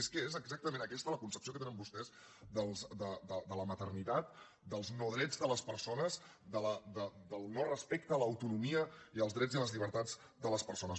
és que és exactament aquesta la concepció que tenen vostès de la maternitat dels no drets de les persones del no respecte a l’autonomia i als drets i les llibertats de les persones